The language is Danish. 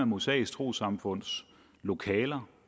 mosaiske troessamfunds lokaler